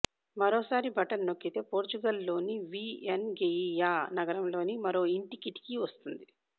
మరోసారి బటన్ నొక్కితే పొర్చుగల్లోని వీఎన్ గెయియా నగరంలోని మరో ఇంటి కిటికీ వస్తుంది